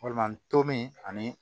Walima tom ani